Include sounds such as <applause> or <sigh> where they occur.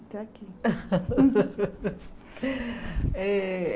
Até aqui. <laughs> Eh